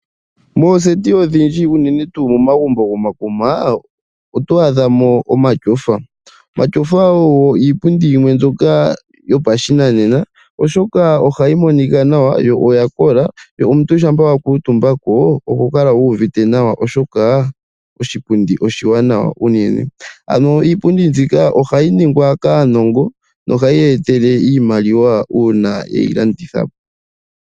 Mooseti odhindji, unene tuu momagumbo gomakuma, oto adha mo omatyofa. Omatyofa ogo iipundi yimwe mbyoka yopashinanena. Oshoka oha yi monika nawa yo oyakola, yo omuntu shampa wa kuutumba ko ohokala wu uvite nawa oshoka oshipundi oshiwanawa unene. Ano iipundi mbika oha yi ningwa kaanongo noha yi ya etele iimaliwa uuna ye yi landitha.